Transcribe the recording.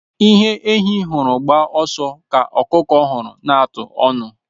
Ihe ehi hụrụ gbaa ọsọ ka ọkụkọ hụrụ n'atụ ọnụ.